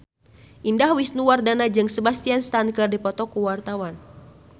Indah Wisnuwardana jeung Sebastian Stan keur dipoto ku wartawan